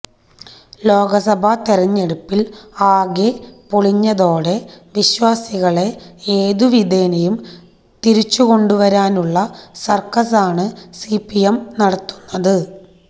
ലോക്സഭാതിരഞ്ഞെടുപ്പിൽ ആകെ പൊളിഞ്ഞതോടെ വിശ്വാസികളെ ഏതുവിധേനയും തിരിച്ചുകൊണ്ടുവരാനുള്ള സർക്കസാണു സിപിഎം നടത്തുന്നത്